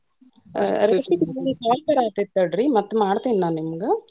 ನಂಗೆ call ಬರಾತೇತಿ ತಡ್ರಿ, ಮತ್ತ ಮಾಡ್ತೇನಿ ನಾನ ನಿಮ್ಗ.